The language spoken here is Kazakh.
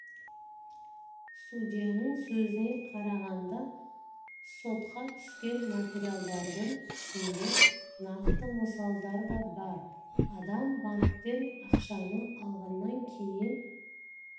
судьяның сөзіне қарағанда сотқа түскен материалдардың ішінде нақты мысалдар да бар адам банктен ақшаны алғаннан кейін